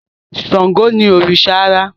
Ṣángó ni òrìṣà àrá